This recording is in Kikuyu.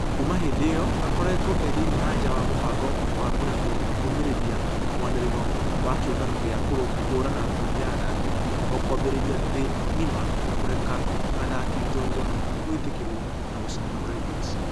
Kuuma hĩndĩ ĩyo akoretwo ĩthĩine na nja wa mũbango wa kũrehwi kũrũmĩrĩra mwanĩrĩro wa kĩũngano gĩa kũhũrana ngundi ya athaki a kũmbĩrĩria thĩ ngima kũreke athaki njorua kũĩtekerwo na gũshidana Olympics.